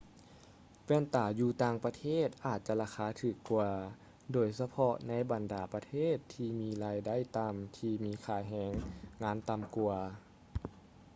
ແວ່ນຕາຢູ່ຕ່າງປະເທດອາດຈະລາຄາຖືກກວ່າໂດຍສະເພາະໃນບັນດາປະເທດທີ່ມີລາຍໄດ້ຕໍ່າທີ່ມີຄ່າແຮງງານຕໍ່າກວ່າ